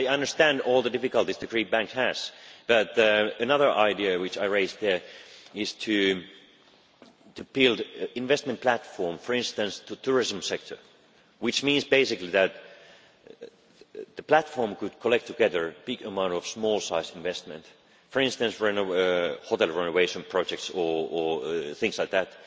I understand all the difficulties that the Greek banks have, but another idea which I raised there was to build an investment platform, for instance in the tourism sector, which means, basically that the platform could collect together a large amount of small-sized investment for instance hotel renovation projects or things like that